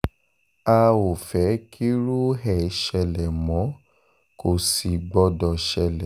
a ò fẹ́ kírú ẹ̀ ṣẹlẹ̀ mọ́ kò sì gbọ́dọ̀ ṣẹlẹ̀